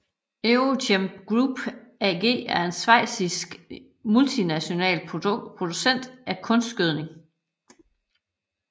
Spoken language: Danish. EuroChem Group AG er en schweizisk multinational producent af kunstgødning